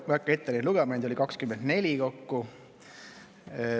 Ma ei hakka neid ette lugema, neid oli kokku 24.